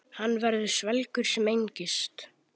Hann verður svelgur sem engist.